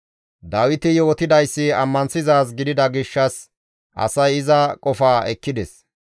Dawiti yootidayssi ammanththizaaz gidida gishshas asay iza qofaa ekkides.